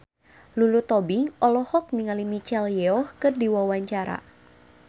Lulu Tobing olohok ningali Michelle Yeoh keur diwawancara